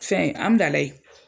Fɛn Hamdalaye